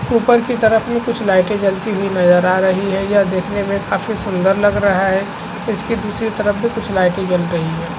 ऊपर की तरफ मे कुछ लाइटे जलती हुई नज़र आ रही है यह देखने मे काफी सुंदर लग रहा है इसकी दूसरी तरफ भी कुछ लाइटे जल रही है।